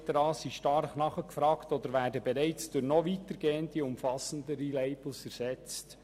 Es bestehend eine starke Nachfrage nach diesen, oder sie werden bereits durch noch weitergehende, umfassendere Label ersetzt.